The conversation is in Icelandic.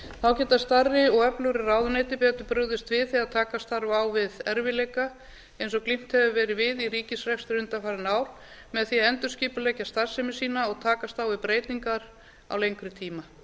þá geta stærri og öflugri ráðuneyti betur brugðist við þegar takast þarf á við erfiðleika eins og glímt hefur verið við í ríkisrekstri undanfarin ár með því að endurskipuleggja starfsemi sína og takast á við breytingar á lengri tíma